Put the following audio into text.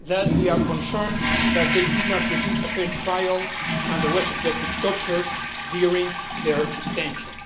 We are concerned that they did not receive a fair trial and they were subjected to torture during their detention.